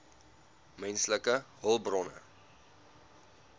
menslike hulpbronne